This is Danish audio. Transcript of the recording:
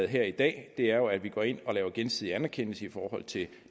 her i dag er jo at vi går ind og laver gensidig anerkendelse i forhold til